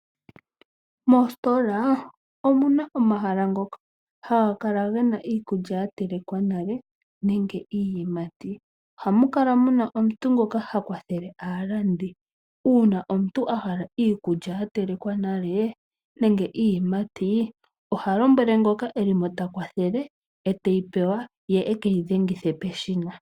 Moositola omuna omahala ngoka haga kala gena iikulya ya telekwa nale nenge iiyimati. Ohamu kala muna omuntu ngoka ha kwathele aalandi, uuna omuntu a hala iikulya ya telekwa nale nenge iiyimati oha lombwele ngoka e limo ta kwathele e teyi pewa ye e ke yi dhengithe peshina.